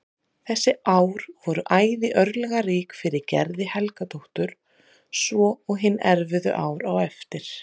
Þessi ár voru æði örlagarík fyrir Gerði Helgadóttur svo og hin erfiðu ár á eftir.